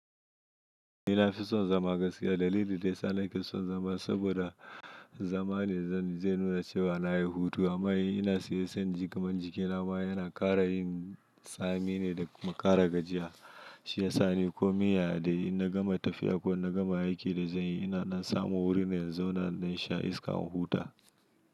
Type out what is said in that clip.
Ni na fi son zama gaskiya dalili da ya sa na kison zama. Saboda zama ne zai nuna cewa na yi hutu. Amma ina siyan jigimar jikina ma yana ƙara yin tsami ne da makara gajiya. Shi ya sa ni komai yaya dai in na gama tafiya ko na gama aikin da zan yi, ina samun wurine in zauna in ɗan sha iska in huta.